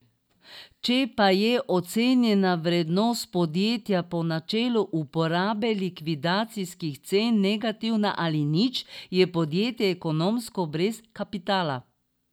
Če pa je ocenjena vrednost podjetja po načelu uporabe likvidacijskih cen negativna ali nič, je podjetje ekonomsko brez kapitala.